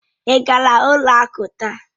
Ị gara ụlọ akụ taa?